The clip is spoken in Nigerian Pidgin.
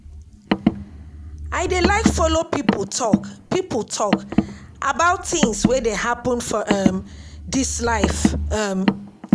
I dey like folo pipo tok pipo tok about tins wey dey happen for um dis life. um